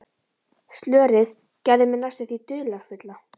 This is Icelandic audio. Slörið gerði mig næstum því dularfulla.